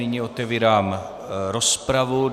Nyní otevírám rozpravu.